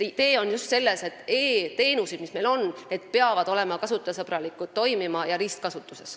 Idee on just selles, et e-teenused, mis meil on, peavad toimima ning olema kasutajasõbralikud ja ristkasutuses.